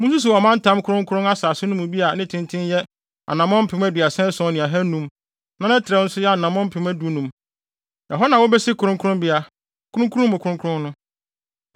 Munsusuw ɔmantam kronkron asase no mu bi a ne tenten yɛ anammɔn mpem aduasa ason ne ahannum (37,500) na ne trɛw nso yɛ anammɔn mpem dunum (15,000). Ɛhɔ na wobesi kronkronbea, Kronkron Mu Kronkron no.